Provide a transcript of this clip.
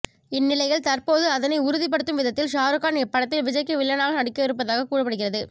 இந்நிலையில் தற்போது அதனை உறுதிப்படுத்தும் விதத்தில் ஷாருக்கான் இப்படத்தில் விஜய்க்கு வில்லனாக நடிக்கவிருப்பதாக கூறப்படுகிறது